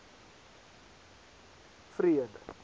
freud